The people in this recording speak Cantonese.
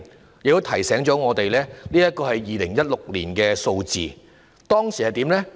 我亦要提醒大家，這是2016年的數字，當時的情況是怎樣呢？